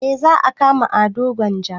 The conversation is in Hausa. Eh za a kama ado gwanja